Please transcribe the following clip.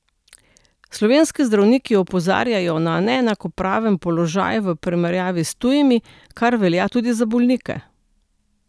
Slovenski zdravniki opozarjajo na neenakopraven položaj v primerjavi s tujimi, kar velja tudi za bolnike.